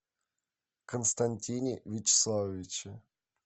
константине вячеславовиче